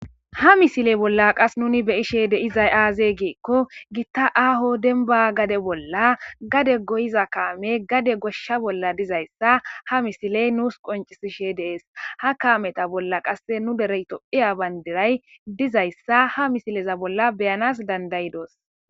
ha misile bolla qas nuni beyishe de7izay aazee giikko gitta aaho denba gade bolla gade goyiza kaame gade goshsha bolla dizayssa ha misiley nuus qoncisishe dees ha kaameta bolla qasse nu derey tophiya bayndiray dizayssa ha misileza bolla beyanas dandayidoos